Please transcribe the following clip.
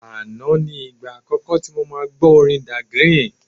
Àná ni ìgbà àkọ́kọ́ tí mo máa gbọ́ orin Dagrin.